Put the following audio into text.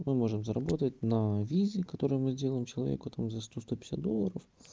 мы можем заработать на визе которые мы делаем человека там за сто сто пятьдесят долларов